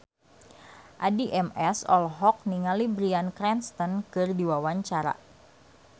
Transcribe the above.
Addie MS olohok ningali Bryan Cranston keur diwawancara